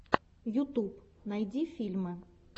ютуб найди фильмы